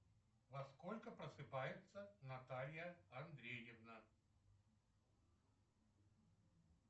во сколько просыпается наталья андреевна